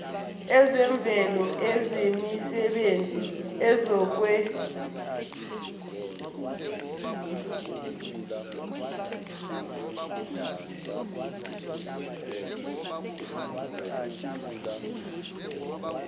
ezemvelo ezemisebenzi ezokuhweba